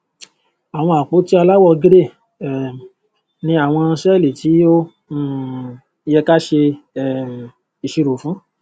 àwọn àpótí aláwọ gírè um ni àwọn sẹẹlì tí ó um yẹ káa ṣe um ìṣirò fún